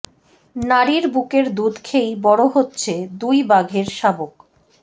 নারীর বুকের দুধ খেয়েই বড় হচ্ছে দুই বাঘের শাবক